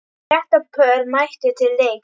Þrettán pör mættu til leiks.